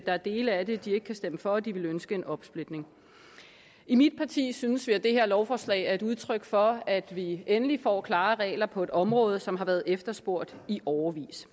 er dele af det de ikke kan stemme for så de ønsker en opsplitning i mit parti synes vi at det her lovforslag er et udtryk for at vi endelig får klare regler på et område som har været efterspurgt i årevis